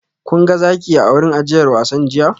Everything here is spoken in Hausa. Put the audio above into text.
Kun ga zaki a wurin ajiyar wasan jiya?